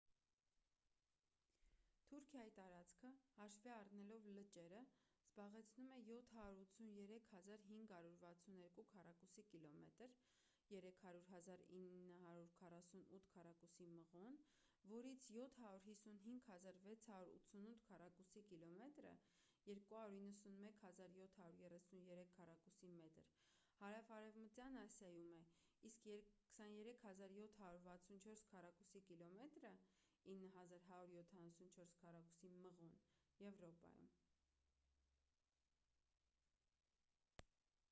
թուրքիայի տարածքը հաշվի առնելով լճերը զբաղեցնում է 783 562 քառակուսի կիլոմետր 300 948 քառակուսի մղոն որից 755 688 քառակուսի կիլոմետրը 291 773 քառակուսի մղոն հարավարևմտյան ասիայում է իսկ 23 764 քառակուսի կիլոմետրը 9 174 քառակուսի մղոն` եվրոպայում: